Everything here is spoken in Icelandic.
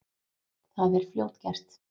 Það er fljótgert.